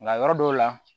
Nka yɔrɔ dɔw la